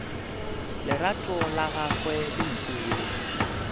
lerato la gagwe le mpule